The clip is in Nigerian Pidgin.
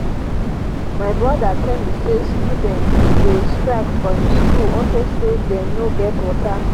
my broda tell me say students dey strike for im school unto say dey no get water